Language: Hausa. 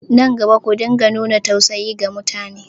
Nan gaba, ku dinga nuna tausayi ga mutane!